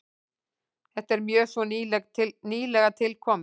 Þetta er mjög svo nýlega tilkomið.